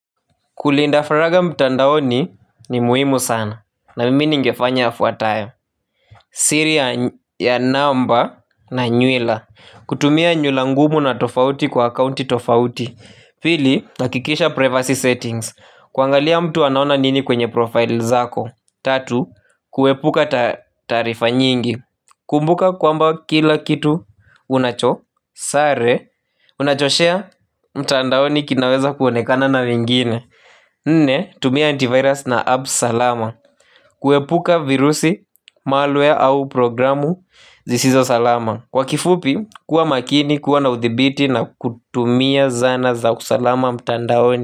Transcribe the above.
Kulinda faraga mtandaoni ni muhimu sana na mimi ningefanya yafuatayo. Siri ya namba na nywila kutumia nywila ngumu na tofauti kwa accounti tofauti. Pili nahakikisha privacy settings. Kuangalia mtu anaona nini kwenye profile zako. Tatu kuepuka taarifa nyingi. Kumbuka kwamba kila kitu unacho Sare Unachoshea mtandaoni kinaweza kuonekana na mingine. Nne, tumia antivirus na apps salama. Kuepuka virusi, malware au programu zisizo salama. Kwa kifupi, kuwa makini, kuwa na uthibiti na kutumia zana za usalama mtandaoni.